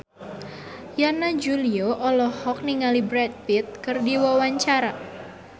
Yana Julio olohok ningali Brad Pitt keur diwawancara